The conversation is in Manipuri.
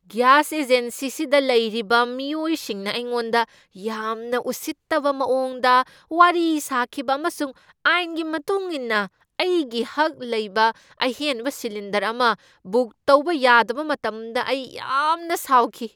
ꯒ꯭ꯌꯥꯁ ꯑꯦꯖꯦꯟꯁꯤꯗ ꯂꯩꯔꯤꯕ ꯃꯤꯑꯣꯏꯁꯤꯡꯅ ꯑꯩꯉꯣꯟꯗ ꯌꯥꯝꯅ ꯎꯁꯤꯠꯇꯕ ꯃꯑꯣꯡꯗ ꯋꯥꯔꯤ ꯁꯥꯈꯤꯕ ꯑꯃꯁꯨꯡ ꯑꯥꯏꯟꯒꯤ ꯃꯇꯨꯡ ꯏꯟꯅ ꯑꯩꯒꯤ ꯍꯛ ꯂꯩꯕ ꯑꯍꯦꯟꯕ ꯁꯤꯂꯤꯟꯗꯔ ꯑꯃ ꯕꯨꯛ ꯇꯧꯕ ꯌꯥꯗꯕ ꯃꯇꯝꯗ ꯑꯩ ꯌꯥꯝꯅ ꯁꯥꯎꯈꯤ ꯫